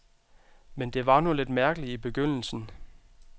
Men det var nu lidt mærkeligt i begyndelsen.